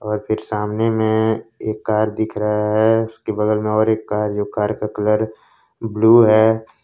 और फिर सामने में एक कार दिख रहा है उसके बगल में और इसका जो कार का कलर ब्लू है।